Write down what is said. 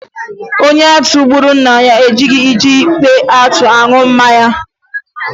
Onye atụ gburu nna ya adịghi eji mpi atụ aṅụ mmanya.